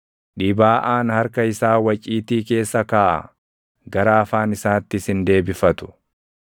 Dhibaaʼaan harka isaa waciitii keessa kaaʼa; gara afaan isaattis hin deebifatu!